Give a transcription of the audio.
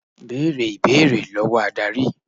Bẹ̀rẹ̀ ìbéèrè lọ́wọ́ Ádárì.